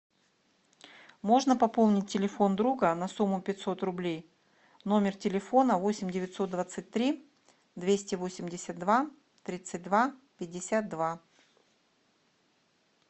можно пополнить телефон друга на сумму пятьсот рублей номер телефона восемь девятьсот двадцать три двести восемьдесят два тридцать два пятьдесят два